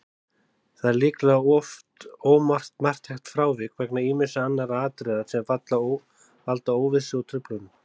Það er líklega oft ómarktækt frávik vegna ýmissa annarra atriða sem valda óvissu og truflunum.